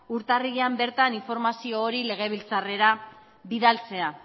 urtarrilean bertan informazio hori legebiltzarrera bidaltzea